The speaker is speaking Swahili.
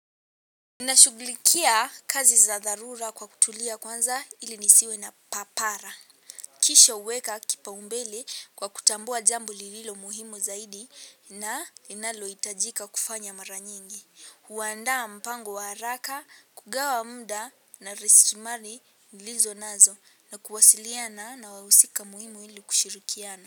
Ninashughulikia kazi za darura kwa kutulia kwanza ili nisiwe na papara. Kisha huweka kipa umbele kwa kutambua jambo lililo muhimu zaidi na linalo hitajika kufanya mara nyingi. Huandaa mpango wa haraka, kugawa mda na resilimali nilizo nazo na kuwasiliana na wawusika muhimu ili kushirukiana.